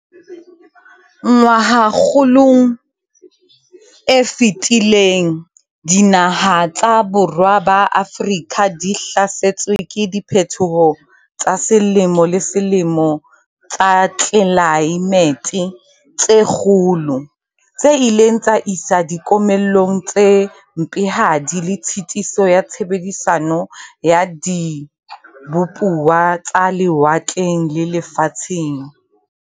"Ngwahakgolong e fetileng dinaha tsa borwa ba Afrika di hlasetswe ke diphethoho tsa selemo le selemo tsa tlelae mete tse kgolo, tse ileng tsa isa dikomellong tse mpehadi le tshitiso ya tshebedisano ya dibupuwa tsa lewatleng le lefatsheng."